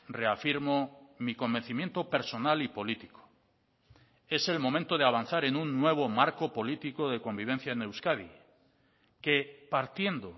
reafirmo mi convencimiento personal y político es el momento de avanzar en un nuevo marco político de convivencia en euskadi que partiendo